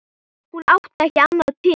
Hún átti ekki annað til.